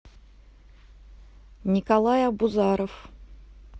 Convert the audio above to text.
николай абузаров